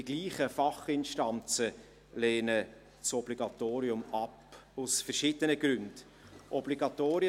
Dieselben Fachinstanzen lehnen ein Obligatorium aus verschiedenen Gründen ab.